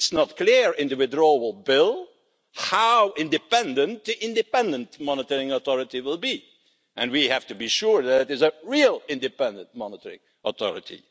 It's not clear in the withdrawal bill how independent the Independent Monitoring Authority will be and we have to be sure that it is a real Independent Monitoring Authority.